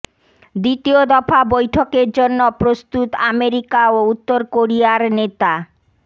দ্বিতীয় দফা বৈঠকের জন্য প্রস্তুত আমেরিকা ও উত্তর কোরিয়ার নেতা